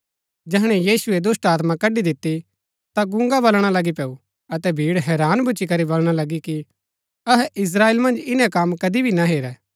जैहणै यीशुऐ दुष्‍टात्मा कड्ड़ी दिती ता गूंगा बलणा लगी पैऊ अतै भीड़ हैरान भूच्ची करी बलणा लगी कि अहै इस्त्राएल मन्ज इन्‍नै कम कदी भी ना हेरै